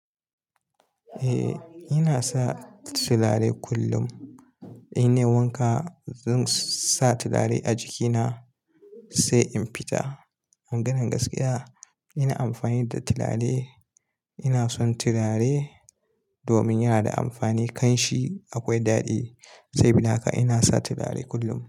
Eh, ina sa turare kullum. Ina wanka, zan sa turare a jikina sai in fita. Maganan gaskiya ina amfani da turare. Ina son turare domin yana da amfani, kan shi akwai daɗi. Sabida haka ina sa turare kullum.